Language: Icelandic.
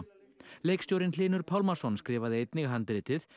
leikstjórinn Hlynur Pálmason skrifaði einnig handritið